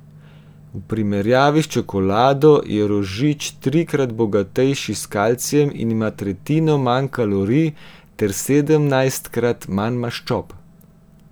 V primerjavi s čokolado je rožič trikrat bogatejši s kalcijem in ima tretjino manj kalorij ter sedemnajstkrat manj maščob.